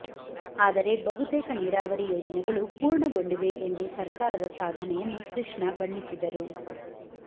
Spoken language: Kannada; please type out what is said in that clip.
ಆದರೆ ಬಹುತೇಕ ನೀರಾವರಿ ಯೋಜನೆಗಳು ಪೂರ್ಣಗೊಂಡಿವೆ ಎಂದು ಸರ್ಕಾರದ ಸಾಧನೆಯನ್ನು ಕೃಷ್ಣ ಬಣ್ಣಿಸಿದರು